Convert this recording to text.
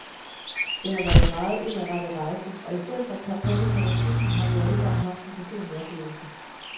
Det har været en meget indadrettet rejse, og i stedet for en kampagne mod racisme, har vi alle sammen haft en personlig oplevelse.